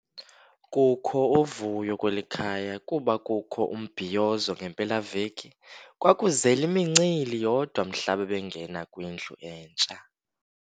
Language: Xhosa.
Kukho uvuyo kweli khaya kuba kukho umbhiyozo ngempelaveki. Kwakuzele imincili yodwa mhla babengena kwindlu entsha.